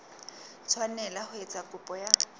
tshwanela ho etsa kopo ya